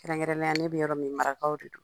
Kɛrɛnkɛrɛnnenyala, ne bɛ yɔrɔ min Marakaw de don.